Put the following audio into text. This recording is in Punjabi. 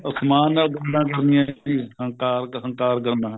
ਅਸਮਾਨ ਨਾਲ ਗੱਲਾਂ ਕਰਨੀਆਂ ਹੰਕਾਰ ਹੰਕਾਰ ਕਰਨਾ